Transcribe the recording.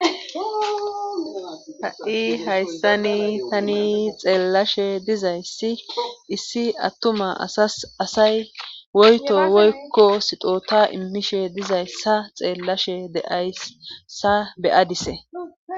ha7i hayssani tani xeellashe dizayssi issi attuma asas asay woyto woykko sixota immishe dizayssa xeellashe deayssa beyadise